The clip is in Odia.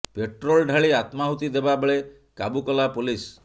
ପେଟ୍ରୋଲ ଢାଳି ଆତ୍ମାହୁତି ଦେବା ବେଳେ କାବୁ କଲା ପୋଲିସ